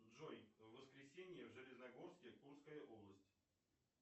джой в воскресенье в железногорске курская область